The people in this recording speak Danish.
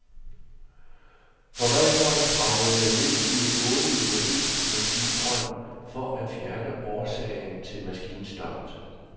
Forvalteren kravlede ned i en otte meter dyb maskinbrønd for at fjerne årsagen til maskinstoppet.